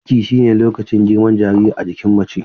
Ciki shine lokacin girman jariri a jikin mace.